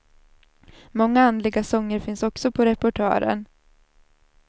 Många andliga sånger finns också på repertoaren.